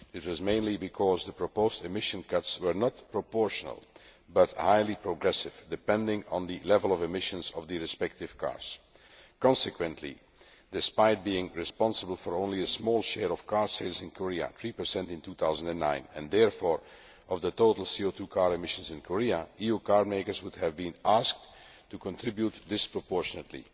This was mainly because the proposed emission cuts were not proportional, but highly progressive, depending on the level of emissions of the respective cars. Consequently, despite being responsible for only a small share of car sales in Korea 3 in 2009 and therefore of total CO 2 car emissions in Korea, EU car makers would have been asked to contribute disproportionately.